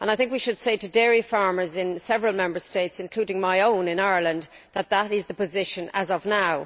I think we should say to dairy farmers in several Member States, including my own of Ireland, that this is the position as of now.